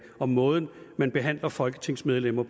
og måden man behandler folketingsmedlemmer